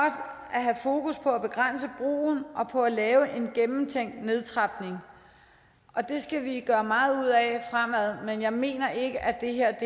at have fokus på at begrænse brugen og på at lave en gennemtænkt nedtrapning og det skal vi gøre meget ud af fremad men jeg mener ikke at det her